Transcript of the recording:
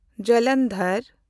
Jalandhar